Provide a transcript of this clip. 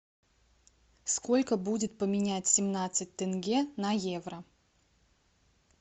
сколько будет поменять семнадцать тенге на евро